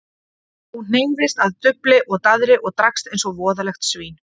Þú hneigðist að dufli og daðri og drakkst eins og voðalegt svín.